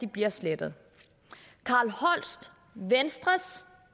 bliver slettet carl holst venstres